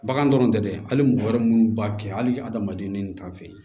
Bagan dɔrɔn tɛ dɛ hali mɔgɔ wɛrɛ munnu b'a kɛ hali adamaden ni kan fɛ